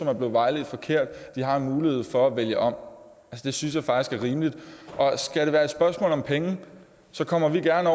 er blevet vejledt forkert har en mulighed for at vælge om det synes jeg faktisk er rimeligt skal det være et spørgsmål om penge så kommer vi gerne